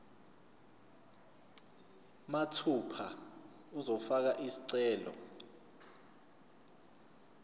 mathupha uzofaka isicelo